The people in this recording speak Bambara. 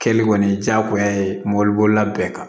Kɛli kɔni ye diyagoya ye mɔbilibolila bɛɛ kan